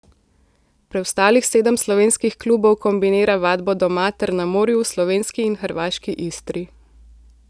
Preostalih sedem slovenskih klubov kombinira vadbo doma ter na morju v slovenski in hrvaški Istri.